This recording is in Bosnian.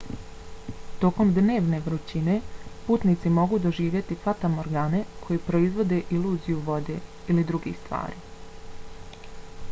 tokom dnevne vrućine putnici mogu doživjeti fatamorgane koje proizvode iluziju vode ili drugih stvari